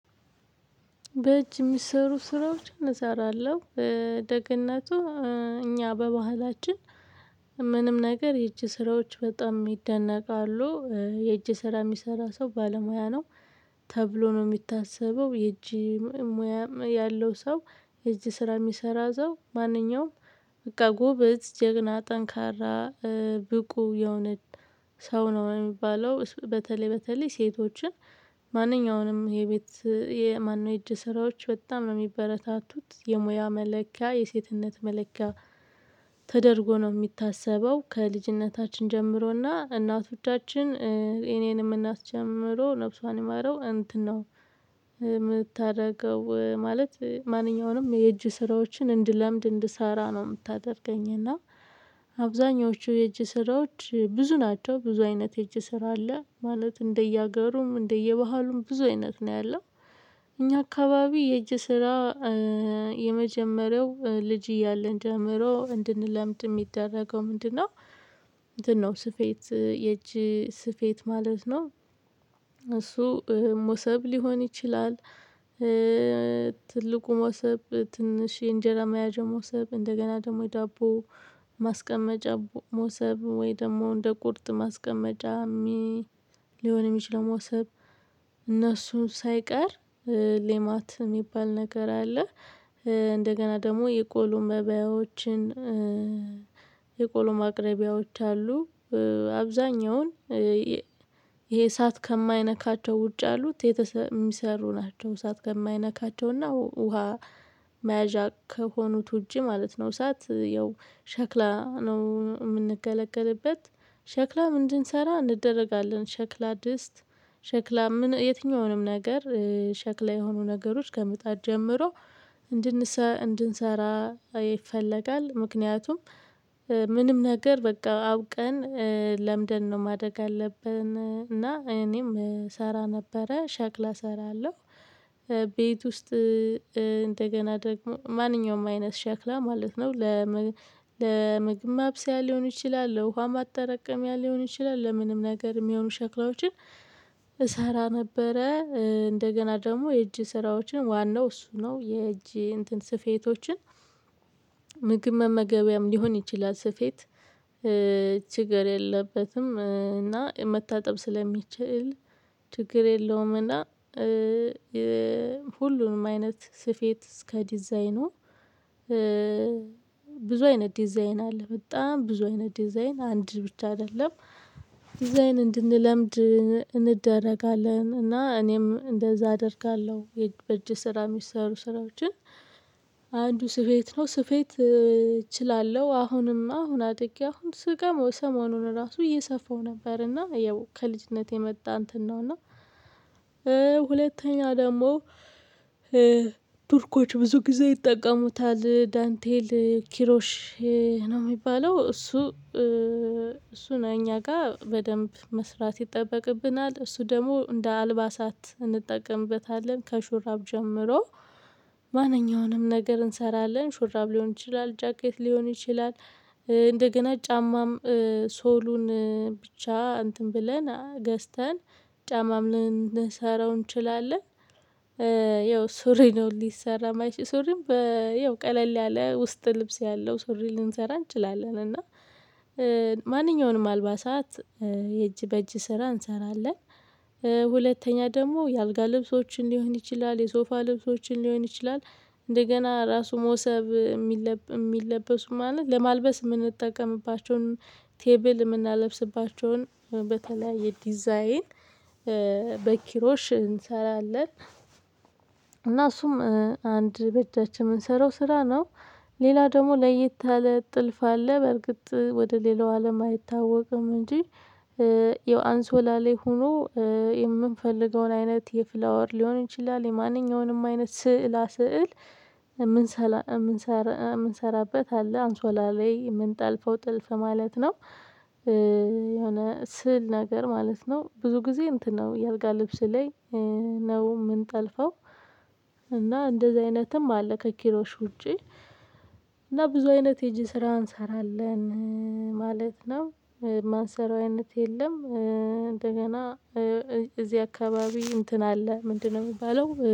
በእጅ የሚሰሩ ስራዎችን እሰራለሁ በደግነቱ እኛ በባህላችን ምንም ነገር የእጅ ስራዎች በጣም ይደነቃሉ። የእጅ ስራ የሚሰራ ሰው ባለሙያ ነው። ተብሎ ነው የሚታሰበው የእጅ። ሙያ ያለው ሰው የእጅ ስራ የሚሰራ ሰው ማንኛውም በቃ ጎበዝ ጀግና ጠንካራ ብቁ የሆነ ሰው ነው የሚባለው። በተለይ በተለይ ሴቶችን። ማንኛውንም የቤት የማን ነው የእጅ ስራዎች በጣም ነው የሚበረታቱት የሙያ መለኪያ የሴትነት መለኪያ። ተደርጎ ነው የሚታሰበው ከልጅነታችን ጀምሮና እናቶቻችን እኔንም እናት ጀምሮ ነፍሷን የማረው እንትን ነው። የምታደርገው ማለት ማንኛውንም የእጅ ስራዎችን እንድለምድ እንድሰራ ነው የምታደርገኝ እና። አብዛኞቹ የእጅ ስራዎች ብዙ ናቸው ብዙ አይነት የእጅ ስራ አለ ማለት እንደየሀገሩም እንደየባህሉም ብዙ አይነት ነው ያለው። እኛ አካባቢ የእጅ ስራ የመጀመሪያው ልጅ እያለን ጀምሮ እንድንለምድ የሚደረገው ምንድነው? ምንድነው ስፌት የእጅ ስፌት ማለት ነው። እሱ መውሰብ ሊሆን ይችላል። ትልቁ መውሰብ ትንሽ እንጀራ መያዣ መውሰብ እንደገና ደግሞ የዳቦ ማስቀመጫ መውሰብ ወይ ደግሞ እንደ ቁርጥ ማስቀመጃ። ሊሆን የሚችለው መውሰብ። እነሱን ሳይቀር ሌማት የሚባል ነገር አለ። እንደገና ደግሞ የቆሎ መባያዎችን። የቆሎ ማቅረቢያዎች አሉ። አብዛኛውን ይሄ እሳት ከማይነካቸው ውጭ አሉት የሚሰሩ ናቸው እሳት ከማይነካቸውና ውሃ መያዣ ከሆኑት ውጪ ማለት ነው። እሳት ያው ሸክላ ነው የምንገለገልበት። ሸክላ ምንድን እንደረጋለን ሸክላ ድስት ሸክላ የትኛውንም ነገር ሸክላ የሆኑ ነገሮች ከምጣድ ጀምሮ እንድንሰራ እንድንሰራ ይፈለጋል። ምክንያቱም። ምንም ነገር በቃ አውቀን ለምደን ነው ማደግ አለብን እና እኔም እሰራ ነበረ ሸክላ እሰራለሁ። ቤት ውስጥ እንደገና ደግሞ ማንኛውም አይነት ሸክላ ማለት ነው። ለምግብ ማብሰያ ሊሆን ይችላል ለውሃ ማጠራቀሚያ ሊሆን ይችላል ለምንም ነገር የሚሆኑ ሸክላዎችን። እሰራ ነበረ። እንደገና ደግሞ የእጅ ስራዎችን ዋናው እሱ ነው የእጅ እንትን ስፌቶችን። ምግብ መመገቢያም ሊሆን ይችላል ስፌት ችግር የለበትም። እና መታጠብ ስለሚችል ችግር የለውም። እና ሁሉንም አይነት ስፌት እስከ ዲዛይኑ ብዙ አይነት ዲዛይን አለ በጣም ብዙ አይነት ዲዛይን አንድ ብቻ አይደለም። ዲዛይን እንድንለምድ እንደረጋለን እና እኔም እንደዛ አደርጋለሁ በእጅ ስራ የሚሰሩ ስራዎችን። አንዱ ስፌት ነው ስፌት እችላለሁ አሁንማ አሁን አደክም ስጋ መውሰሙን ራሱ እየሰፋው ነበርና ያው ከልጅነቴ የመጣ እንትን ነውና። እና ሁለተኛ ደግሞ ቱርኮች ብዙ ጊዜ ይጠቀሙታል ዳንቴል ኪሮሽ። ነው የሚባለው እሱ እሱ ነኝ እኛ ጋር በደንብ መስራት ይጠበቅብናል። እሱ ደግሞ እንደ አልባሳት እንጠቀምበታለን ከሹራብ ጀምሮ። ማንኛውንም ነገር እንሰራለን ሹራብ ሊሆን ይችላል ጃኬት ሊሆን ይችላል። እንደገና ጫማም ሶሉን ብቻ እንትን ብለን ገዝተን ጫማም ልንሰራው እንችላለን። ያው ሱሪ ነው ሊሰራ ማይችለው ሱሪም በያው ቀለል ያለ ውስጥ ልብስ ያለው ሱሪ ልንሰራ እንችላለን እና። ማንኛውንም አልባሳት የእጅ በእጅ ስራ እንሰራለን። ሁለተኛ ደግሞ የአልጋ ልብሶችን ሊሆን ይችላል የሶፋ ልብሶችን ሊሆን ይችላል። እንደገና ራሱ መውሰብ የሚለብሱ ማለት ለማልበስ የምንጠቀምባቸውን ቴብል የምናለብስባቸውን በተለያየ የዲዛይን በኪሮሽ እንሰራለን። እና እሱም አንድ በአጃችን ች የምንሰራው ስራ ነው። ሌላ ደግሞ ለየት ታለ ጥልፍ አለ በርግጥ ወደ ሌላው አለም አይታወቅም እንጂ። የአንሶላ ላይ ሆኖ የምንፈልገውን አይነት የፍላወር ሊሆን ይችላል የማንኛውንም አይነት ስዕላ ስዕል። የምንሰራበት አለ አንሶላ ላይ የምንጠልፈው ጥልፍ ማለት ነው። የሆነ ስል ነገር ማለት ነው ብዙ ጊዜ እንትን ነው የአልጋ ልብስ ላይ ነው የምንጠልፈው። እና እንደዚህ አይነትም አለ ከኪሮሽ ውጪ። እና ብዙ አይነት የጄ ስራ እንሰራለን ማለት ነው። ማንሰራዊነት የለም እንደገና። እዚህ አካባቢ እንትን አለ ምንድነው? የሚባለው